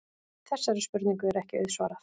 Þessari spurningu er ekki auðsvarað.